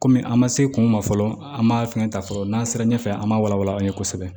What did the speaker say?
Kɔmi an ma se kun ma fɔlɔ an ma fɛn ta fɔlɔ n'an sera ɲɛfɛ an ma wala wala an ye kosɛbɛ